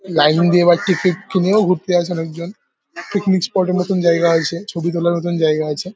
Line দিয়ে বা ticket কিনেও ঘুরতে আসে অনেকজন পিকনিক স্পট -এর মতন জায়গা আছে । ছবি তোলার মতো জায়গা আছে ।